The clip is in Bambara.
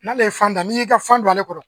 N'ale ye fan da n'i y'i ka fan don ale kɔrɔ